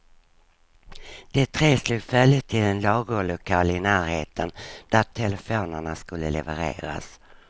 De tre slog följe till en lagerlokal i närheten där telefonerna skulle levereras.